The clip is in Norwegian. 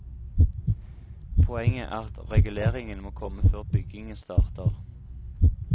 Poenget er at reguleringen må komme før byggingen starter.